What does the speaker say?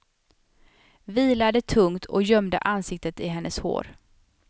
Vilade tungt och gömde ansiktet i hennes hår.